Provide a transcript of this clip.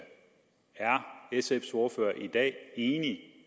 sfs ordfører i dag enig